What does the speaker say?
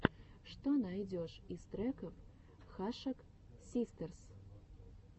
что найдешь из треков хашак систерс